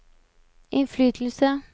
innflytelse